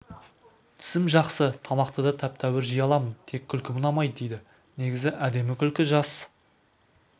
тісім жақсы тамақты да тәп-тәуір жей аламын тек күлкім ұнаймайды дейді негізі әдемі күлкі жас